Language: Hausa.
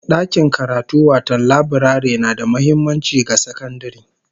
Dakin karatu wato laburare na da muhimmanci ga sakandare